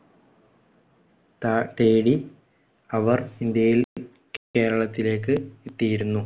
താ~ തേടി അവർ ഇന്ത്യയിൽ കേരളത്തിലേക്ക് എത്തിയിരുന്നു.